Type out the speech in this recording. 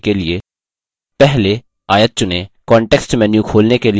text को दर्शनीय बनाने के लिए पहले आयत चुनें